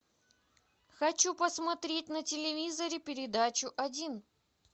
хочу посмотреть на телевизоре передачу один